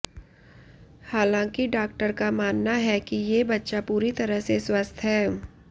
हालांकि डॉक्टर का मानना है कि ये बच्चा पूरी तरह से स्वस्थ है